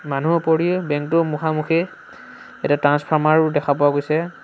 মানুহ ওপৰি বেংক টোৰ মুখা-মুখি এটা ট্ৰান্সফৰ্মাৰো দেখা পোৱা গৈছে।